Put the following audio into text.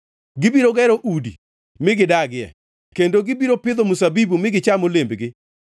Gibiro gero udi mi gidagie kendo gibiro pidho mzabibu mi gicham olembgi.